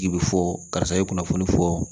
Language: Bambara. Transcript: Ji bi fɔ karisa ye kunnafoni fɔ